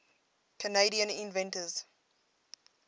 canadian inventors